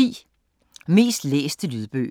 Mest læste lydbøger